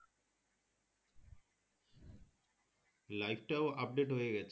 life টাও update হয়ে গেছে